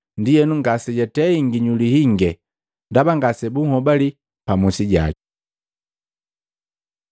Ndienu ngasejatei nginyuli hinge ndaba ngase bunhobali pa musi jaki.